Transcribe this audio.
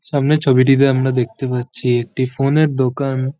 সামনের ছবিটিতে আমরা দেখতে পাচ্ছি একটি ফোন -এর দোকান।